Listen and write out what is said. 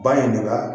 Ba in de la